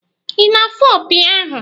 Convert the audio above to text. Ị na-afụ opi ahụ?